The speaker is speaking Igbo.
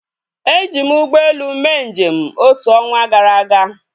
Eji m ụgbọelu mee njem otu ọnwa gara aga